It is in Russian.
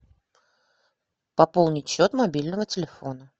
пополнить счет мобильного телефона